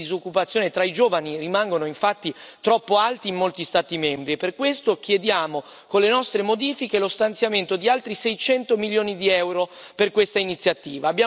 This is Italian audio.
I livelli di disoccupazione tra i giovani rimangono infatti troppo alti in molti Stati membri e per questo chiediamo, con le nostre modifiche, lo stanziamento di altri 600 milioni di euro per questa iniziativa.